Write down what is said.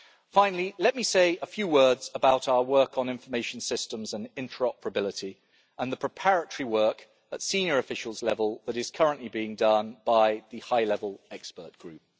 Finally, let me say a few words about our work on information systems and interoperability and the preparatory work at senior officials level that is currently being done by the high level expert group.